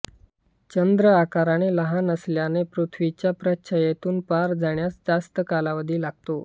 चंद्र आकाराने लहान असल्याने पृथ्वीच्या प्रच्छायेतून पार जाण्यास त्यास जास्त कालावधी लागतो